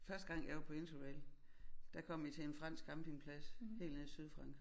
Første gang jeg var på interrail der kom vi til en fransk campingplads helt nede i Sydfrankrig